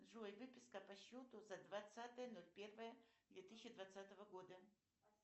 джой выписка по счету за двадцатое ноль первое две тысячи двадцатого года